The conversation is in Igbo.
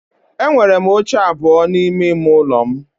Enwere m oche abụọ n'ime ime ụlọ m